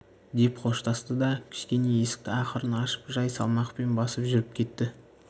деп қоштасты да кішкене есікті ақырын ашып жай салмақпен басып жүріп кетті